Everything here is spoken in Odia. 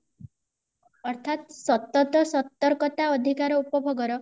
ଅର୍ଥାର୍ତ ସତତ୍ତ ସତର୍କତା ଅଧିକାର ଉପଭୋଗ ର